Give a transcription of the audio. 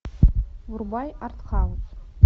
врубай артхаус